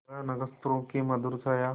वह नक्षत्रों की मधुर छाया